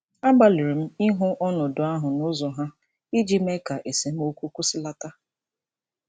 Agbalịrị m ịhụ ọnọdụ ahụ n'ụzọ ha iji mee ka esemokwu kwụsịlata.